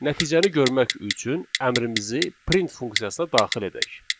Nəticəni görmək üçün əmrimizi print funksiyasına daxil edək.